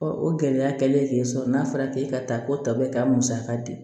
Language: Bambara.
o gɛlɛya kɛlen k'e sɔrɔ n'a fɔra k'e ka taa ko tɔ bɛ ka musaka di